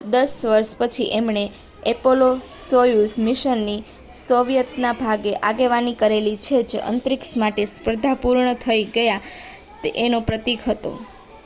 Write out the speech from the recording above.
દસ વર્ષ પછી એમણે એપોલો-સોયુઝ મિશનની સોવિયતના ભાગની આગેવાની કરેલી જે અંતરીક્ષ માટેની સ્પર્ધા પૂર્ણ થઈ ગયા છે એનો પ્રતીક હતો